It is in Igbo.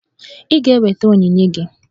Ị ga-eweta onyinye gị!